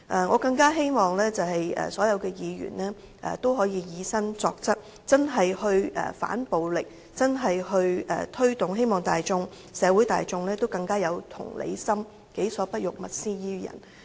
我更希望所有議員都能以身作則，切實地反暴力，推動社會大眾更有同理心，己所不欲，勿施於人。